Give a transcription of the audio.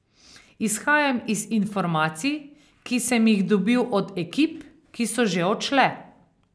Izhajam iz informacij, ki sem jih dobil od ekip, ki so že odšle.